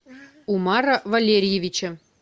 умара валерьевича